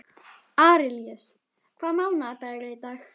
Arilíus, hvaða mánaðardagur er í dag?